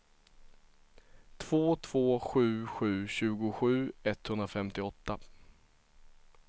två två sju sju tjugosju etthundrafemtioåtta